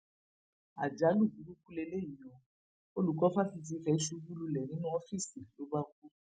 àjálù burúkú leléyìí ó olùkọ fáṣítì ife ṣubú lulẹ nínú ọfíìsì ló bá kú